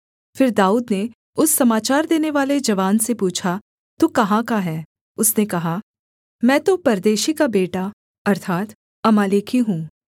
फिर दाऊद ने उस समाचार देनेवाले जवान से पूछा तू कहाँ का है उसने कहा मैं तो परदेशी का बेटा अर्थात् अमालेकी हूँ